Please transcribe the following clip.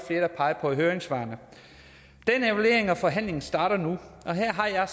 der pegede på i høringssvarene evalueringen og forhandlingerne starter nu og her